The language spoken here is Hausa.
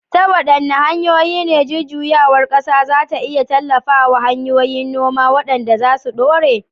Ta waɗanne hanyoyi ne jujjuyawar ƙasa za ta iya tallafa wa hanyoyin noma waɗanda za su dore?